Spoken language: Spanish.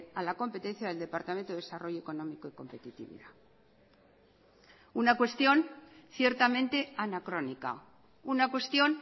a la competencia del departamento de desarrollo económico y competitividad una cuestión ciertamente anacrónica una cuestión